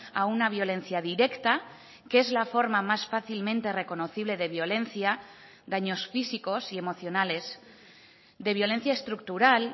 a una violencia directa que es la forma más fácilmente reconocible de violencia daños físicos y emocionales de violencia estructural